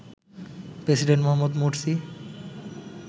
president Mohamed Morsi